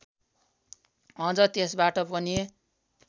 अझ त्यसबाट पनि